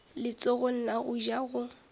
letsogong la go ja go